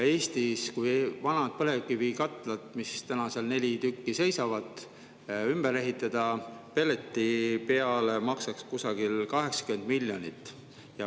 Kui vanad põlevkivikatlad – neid neli tükki seisab – ümber ehitada pelletite peale, siis see maksaks kusagil 80 miljonit.